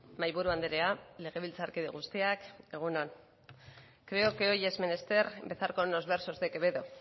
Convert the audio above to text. mahaiburu andrea legebiltzarkide guztiak egun on creo que hoy es menester empezar con los versos de quevedo